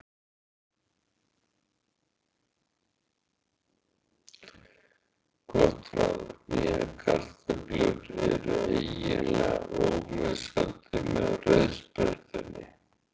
Gott ráð: Nýjar kartöflur eru eiginlega ómissandi með rauðsprettunni.